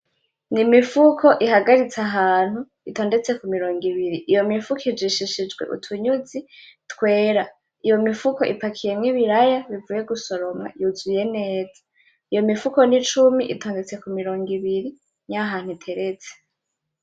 N'imifuko ihagaritse ahantu itondetse ku mirongo ibiri, iyo mifuko ijishishijwe utunyuzi twera. Iyo mifuko ipakiyemo ibiraya bivuye gusoroma yuzuye neza, Iyo mifuko ni cumi itandutse ku mirongo ibiri, niho ahantu iteretse.